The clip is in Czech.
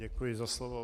Děkuji za slovo.